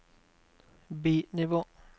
bi-nivå